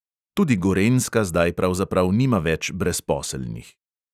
Tudi gorenjska zdaj pravzaprav nima več brezposelnih.